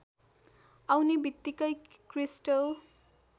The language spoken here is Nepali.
आउने बित्तिकै क्रिस्टल